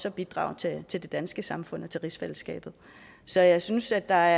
at bidrage til til det danske samfund og til rigsfællesskabet så jeg synes at der